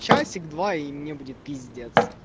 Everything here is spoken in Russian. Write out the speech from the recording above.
часик два и мне будет пиздец